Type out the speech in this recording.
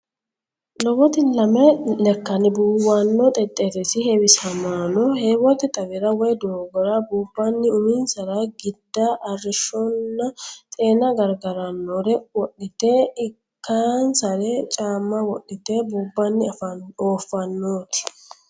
Lowoti lame lekkanni buuwanno xexxerrisi heewisamaano heewote xawira woy doogora buubbanni uminsara giida, arrishshonna xeena gargarannore wodhite lekkansara caamma wodhite buubbanni oofaanooti